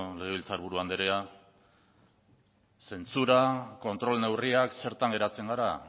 legebiltzar buru andrea zentsura kontrol neurria zertan geratzen gara